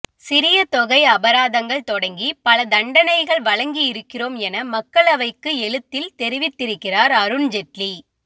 சிறிய தொகை அபராதங்கள் தொடங்கி பல தண்டனைகள் வழங்கி இருக்கிறோம் என மக்களவைக்கு எழுத்தில் தெரிவித்திருக்கிறார் அருண் ஜெட்லி